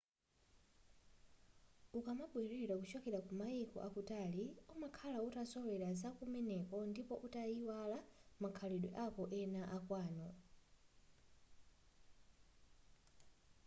ukamabwerera kuchoka ku maiko akutali umakhala utazolowera zakumeneko ndipo utaiwala makhalidwe ako ena akwanu